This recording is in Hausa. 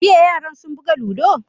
Jiya yaran sun buga ludo?